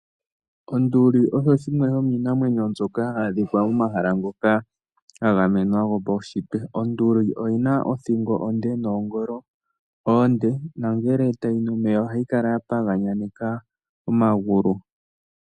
Onduli osho shimwe shomiinamwenyo mbyoka ha yi adhikwa momahala ngoka ga gamwenwa gwopaushitwe. Onduli oyina othingo onde, noongolo oonde, nongele tayi nu omeya oha i kala ya paganyaneka omagulu.